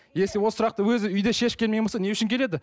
если ол сұрақты өзі үйде шешіп келмеген болса не үшін келеді